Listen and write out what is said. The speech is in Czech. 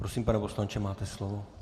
Prosím, pane poslanče, máte slovo.